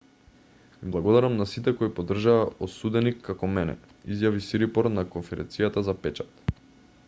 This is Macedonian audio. им благодарам на сите кои поддржаа осуденик како мене изјави сирипорн на конференцијата за печат